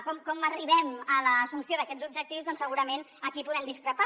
com arribem a l’assumpció d’aquests objectius doncs segurament aquí podem discrepar